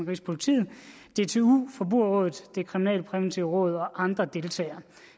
rigspolitiet dtu forbrugerrådet det kriminalpræventive råd og andre deltager